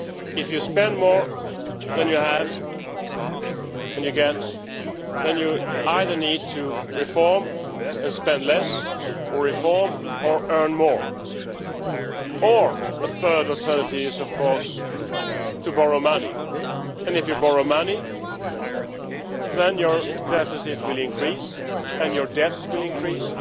If you spend more than you get, then you either need to reform and spend less, or reform and earn more. A third alternative is of course to borrow money, and if you borrow money then your deficit will increase and your debt will increase.